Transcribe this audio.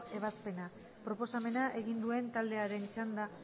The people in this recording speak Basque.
ebazpena proposamena egin duen taldearen txanda